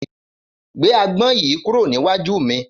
Gbé agbón yìí kúrò níwájú mi.